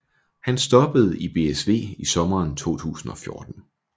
Han stoppede i BSV i sommeren 2014